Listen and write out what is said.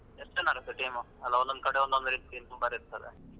ಎಸ್ಟ್ ಜನರದ್ದು team ? ಅಲ್ಲ ಒಂದೊಂದು ಕಡೆ ಒಂದೊಂದು ರೀತಿ number ಇರ್ತದೆ.